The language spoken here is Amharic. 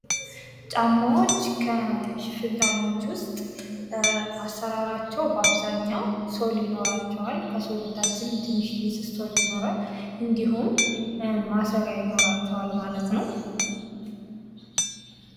ጫማዎች ከሽፍን ጫማዎች ውስጥ አሰራራቸው በአብዛኛው ሶል ይኖራቸዋል ከሶሉ በታችም ትንሽዬ ስስ ሶል ይኖራል እንድሁም ማሰሪያ ይኖራቸዋል ማለት ነው።